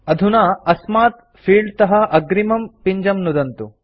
अधुना अस्मात् फील्डतः अग्रिमं पिञ्जं नुदन्तु